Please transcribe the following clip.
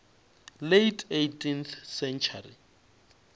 late eighteenth century